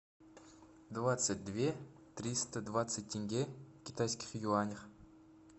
двадцать две триста двадцать тенге в китайских юанях